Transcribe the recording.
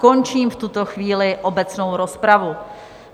Končím v tuto chvíli obecnou rozpravu.